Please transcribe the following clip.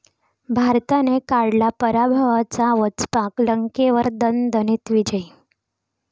भारताने काढला पराभवाचा वचपा, लंकेवर दणदणीत विजय